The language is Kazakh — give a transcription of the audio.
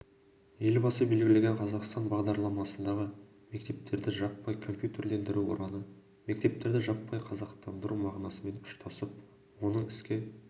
елбасы белгілеген қазақстан бағдарламасындағы мектептерді жаппай компьютерлендіру ұраны мектептерді жаппай қазақтандыру мағынасымен ұштасып оның іске